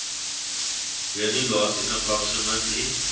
journey lasting approximately